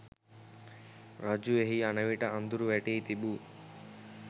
රජු එහි යන විට අඳුර වැටී තිබූ